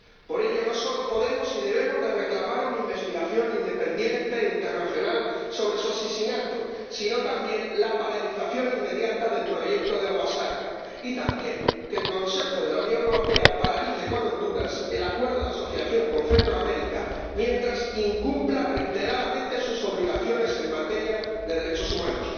Por ello, no solo podemos y debemos reclamar una investigación independiente internacional sobre su asesinato, sino también la paralización inmediata del proyecto de Agua Zarca y que el Consejo de la Unión Europea no aplique a Honduras el Acuerdo de Asociación con Centroamérica mientras este país incumpla reiteradamente sus obligaciones en materia de derechos humanos.